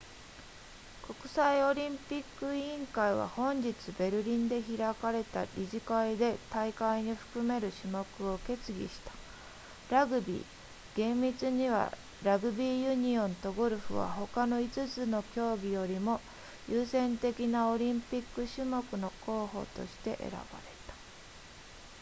国際オリンピック委員会は本日ベルリンで開かれた理事会で大会に含める種目を決議したラグビー厳密にはラグビーユニオンとゴルフは他の5つの競技よりも優先的なオリンピック種目の候補として選ばれた